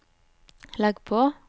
legg på